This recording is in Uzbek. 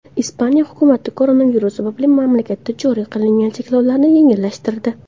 Ispaniya hukumati koronavirus sababli mamlakatda joriy qilingan cheklovlarni yengillashtirdi.